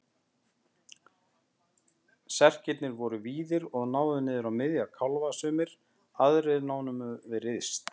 Serkirnir voru víðir og náðu niður á miðja kálfa sumir, aðrir námu við rist.